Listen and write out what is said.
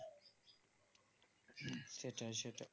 সেটাই সেটাই